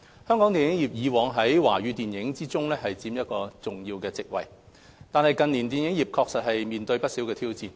香港電影業以往在華語電影中佔一重要席位，但近年電影業確實面對不少挑戰。